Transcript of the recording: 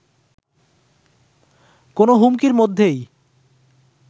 কোনো হুমকির মধ্যেই